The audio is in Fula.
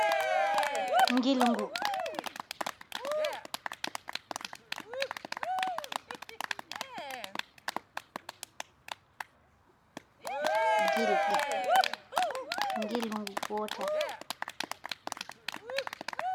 Ngilngu. Gilɗi. Ngilngu gootel.